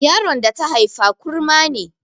Yaron da ta haifa kurma ne